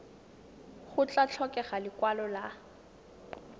go tla tlhokega lekwalo la